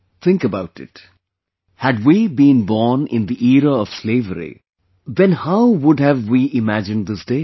Think about it... had we been born in the era of slavery, then how would have we imagined this day